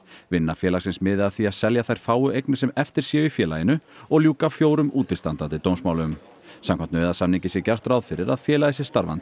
vinna félagsins miði að því að selja þær fáu eignir sem eftir séu í félaginu og ljúka fjórum útistandandi dómsmálum samkvæmt nauðasamningi sé gert ráð fyrir að félagið sé starfandi